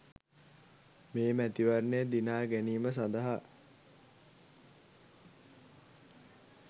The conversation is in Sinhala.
මේ මැතිවරණය දිනා ගැනීම සඳහා